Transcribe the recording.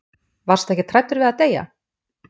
Varstu ekkert hræddur við að deyja?